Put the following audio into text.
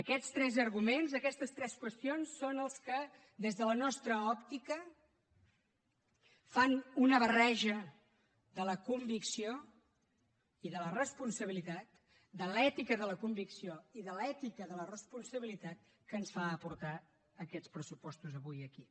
aquests tres arguments aquestes tres qüestions són els que des de la nostra òptica fan una barreja de la convicció i de la responsabilitat de l’ètica de la convicció i de l’ètica de la responsabilitat que ens fan portar aquests pressupostos avui aquí